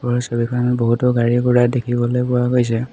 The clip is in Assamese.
ওপৰৰ ছবিখনত বহুতো গাড়ী-ঘোঁৰা দেখিবলৈ পোৱা গৈছে।